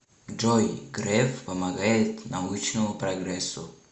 джой греф помогает научному прогрессу